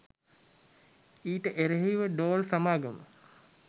ඊට එරෙහි ව ඩෝල් සමාගම